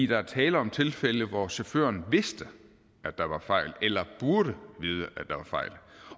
der er tale om tilfælde hvor chaufføren vidste eller burde vide